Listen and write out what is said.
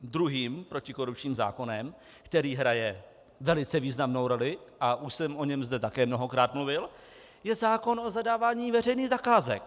Druhým protikorupčním zákonem, který hraje velice významnou roli, a už jsem zde o něm také mnohokrát mluvil, je zákon o zadávání veřejných zakázek.